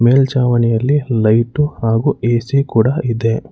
ಮೇಲ್ಚಾವಣಿಯಲ್ಲಿ light ಹಾಗೂ A C ಕೂಡ ಇದೆ.